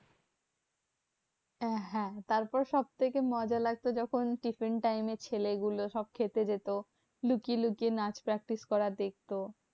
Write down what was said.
আহ হ্যাঁ তারপর সবথেকে মজা লাগতো যখন tiffin time এ ছেলে গুলো সব খেতে যেত। লুকিয়ে লুকিয়ে নাচ practice করা দেখতো।